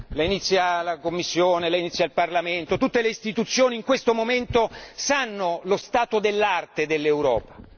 La inizia la Commissione, la inizia il Parlamento, tutte le istituzioni in questo momento sanno lo stato dell'arte dell'Europa.